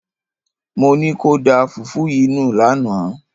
Mo ní kó o da fùfú yìí nù lánàá!